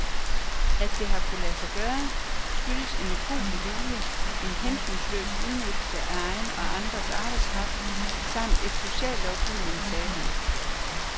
At det har kunnet lade sig gøre, skyldes en ukuelig vilje, en hensynsløs udnyttelse af egen og andres arbejdskraft, samt af sociallovgivningen, sagde han.